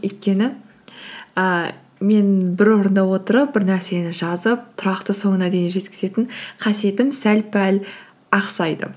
өйткені ііі мен бір орында отырып бір нәрсені жазып тұрақты соңына дейін жеткізетін қасиетім сәл пәл ақсайды